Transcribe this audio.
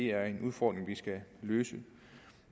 er en udfordring vi skal løse